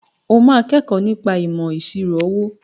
O máa kẹ́kọ̀ọ́ nípa ìmọ̀ ìṣirò owó.